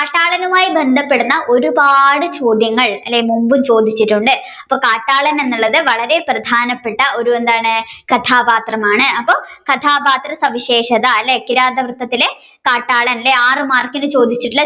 കാട്ടാളനുമായി ബന്ധപ്പെടുന്ന ഒരുപാട് ചോദ്യങ്ങൾ അല്ലെ മുൻപും ചോദിച്ചിട്ടുണ്ട് അപ്പൊ കാട്ടാളൻ എന്നുള്ളത് വളരെ പ്രധാനപ്പെട്ട ഒരു എന്താണ് കദപാത്രമാണ് അപ്പൊ കഥാപാത്ര സവിശേഷത അല്ലെ കിരാതവൃത്തത്തിലെ കാട്ടാളൻ അല്ലെ ആറു മാർക്കിന് ചോദിച്ചിട്ടുള്ള